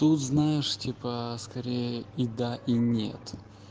тут знаешь типа скорее и да и нет